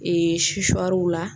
Ee la